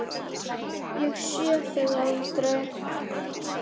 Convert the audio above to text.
Ég sé þig aldrei.